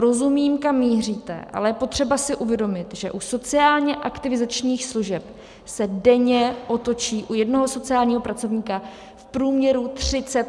Rozumím, kam míříte, ale je potřeba si uvědomit, že u sociálně aktivizačních služeb se denně otočí u jednoho sociálního pracovníka v průměru 30 klientů.